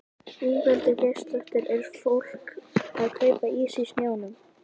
Ingveldur Geirsdóttir: Er fólk að kaupa ís í snjónum?